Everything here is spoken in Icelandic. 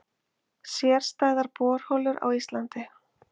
Sérstæðar borholur á Íslandi